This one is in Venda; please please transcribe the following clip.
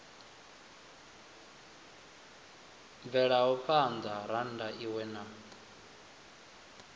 bvelaho phana rannda iwe na